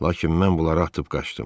Lakin mən bunları atıb qaçdım.